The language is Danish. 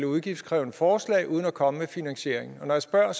udgiftskrævende forslag uden at komme med finansieringen og når jeg spørger